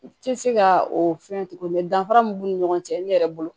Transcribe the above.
U tɛ se ka o fɛn tugun danfara min b'u ni ɲɔgɔn cɛ ne yɛrɛ bolo